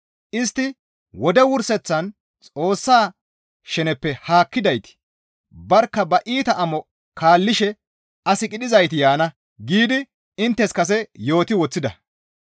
Istti, «Wode wurseththan Xoossa sheneppe haakkidayti barkka ba iita amo kaallishe as qidhizayti yaana» giidi inttes kase yooti woththida.